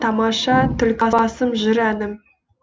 тамаша түлкібасым жыр әнім